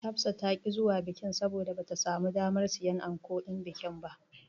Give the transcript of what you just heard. Hafsa ta ƙi zuwa bikin, saboda bata samu damar siyan ankon bikin ba.